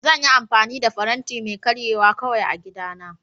Zan yi amfani da faranti mai karyewa kawai a gidana